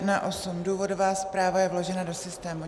Důvodová zpráva je vložena do systému.